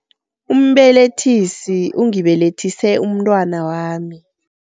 Umbelethisi ungibelethise umntwana wami.